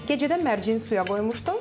Gecədən mərci suya qoymuşdum.